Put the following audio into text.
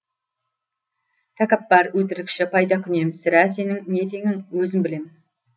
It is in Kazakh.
тәкаппар өтірікші пайдакүнем сірә сенің не теңің өзім білем